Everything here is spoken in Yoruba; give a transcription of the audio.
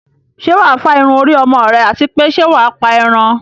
Ṣé wà á fá irun orí ọmọ rẹ àti pé ṣẹ́ wà á pa ẹran?